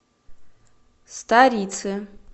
старицы